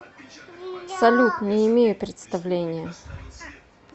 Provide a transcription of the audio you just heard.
салют не имею представления